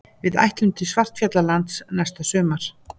Við ætlum til Svartfjallalands næsta sumar.